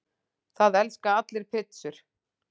Það elska allir pizzur!